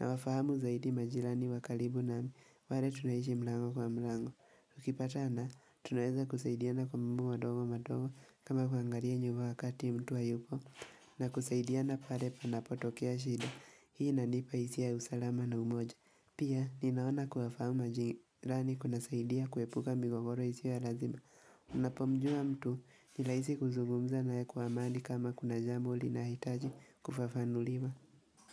nawafahamu zaidi majirani wa kalibu nami, wale tunaishi mlango kwa mlango. Tukipatana, tunaeza kusaidiana kwa mambo madogo madogo kama kuangaria nyuba wakati mtu hayupo na kusaidiana pare panapotokea shida, hii inanipa hisia ya usalama na umoja. Pia, ninaona kuwafaamu majirani kunasaidia kuepuka migogoro isiyo ya lazima. Unapomjua mtu, nilaisi kuzugumza naye kwa amani kama kuna jambo linahitaji kufafanuliwa.